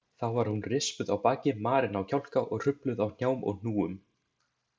Þá var hún rispuð á baki, marin á kjálka og hrufluð á hnjám og hnúum.